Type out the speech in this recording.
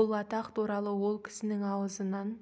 бұл атақ туралы ол кісінің аузынан